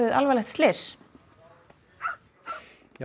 alvarlegt slys já